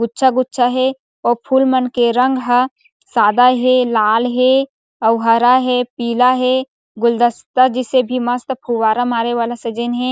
गुच्छा-गुच्छा हे ओ फूल मन के रंग ह सादा हे लाल हे अउ हरा हे पीला हे गुलदस्ता जैसे भी मस्त फुफ्फारा मारे वाला सजइन हे।